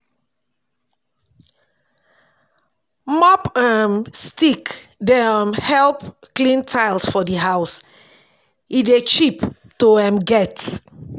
Mob um stick dey um help clean tiles for di house, e dey cheap to um get